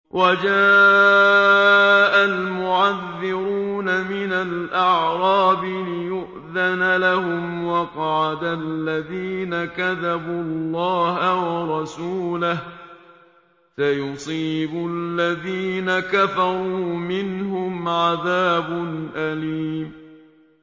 وَجَاءَ الْمُعَذِّرُونَ مِنَ الْأَعْرَابِ لِيُؤْذَنَ لَهُمْ وَقَعَدَ الَّذِينَ كَذَبُوا اللَّهَ وَرَسُولَهُ ۚ سَيُصِيبُ الَّذِينَ كَفَرُوا مِنْهُمْ عَذَابٌ أَلِيمٌ